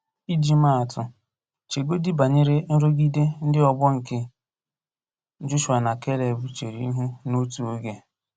Iji maa atụ, chegodị banyere nrụgide ndị ọgbọ nke Jọshụa na Keleb chere ihu n'otu oge.